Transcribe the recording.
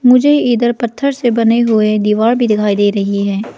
मुझे इधर पत्थर से बने हुए दीवार भी दिखाई दे रही है।